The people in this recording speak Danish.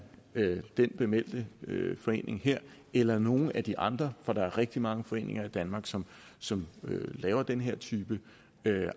bemeldte forening her eller nogen af de andre for der er rigtig mange foreninger i danmark som som laver den her type